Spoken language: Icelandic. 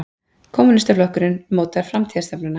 Kommúnistaflokkurinn mótar framtíðarstefnuna